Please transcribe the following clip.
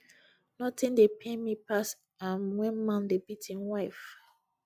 nothing dey pain me pass um when man dey beat im wife